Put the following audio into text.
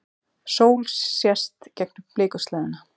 Sól sést gegnum blikuslæðuna.